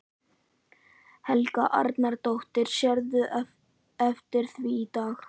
Helga Arnardóttir: Sérðu eftir því í dag?